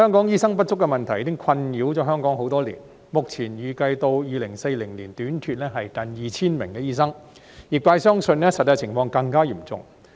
醫生不足的問題已經困擾香港多年，目前預計至2040年短缺近 2,000 名醫生，業界相信實際情況更為嚴重。